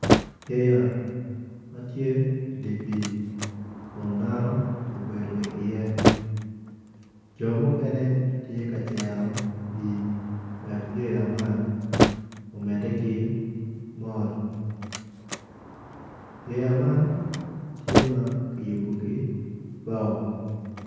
Yeya ma tye idi pii kun dano obedo iye jo mukene tye ka cero pii wek yeya man omedde ki mol yeya man tye ma kiyubo ki bao.